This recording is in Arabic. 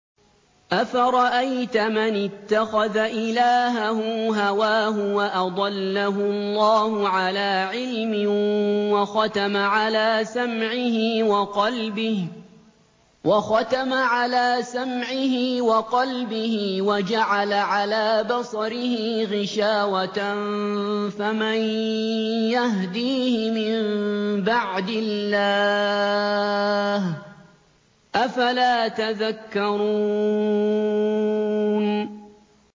أَفَرَأَيْتَ مَنِ اتَّخَذَ إِلَٰهَهُ هَوَاهُ وَأَضَلَّهُ اللَّهُ عَلَىٰ عِلْمٍ وَخَتَمَ عَلَىٰ سَمْعِهِ وَقَلْبِهِ وَجَعَلَ عَلَىٰ بَصَرِهِ غِشَاوَةً فَمَن يَهْدِيهِ مِن بَعْدِ اللَّهِ ۚ أَفَلَا تَذَكَّرُونَ